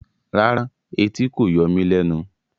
Rárá, ẹtì kò yọ mí lẹnu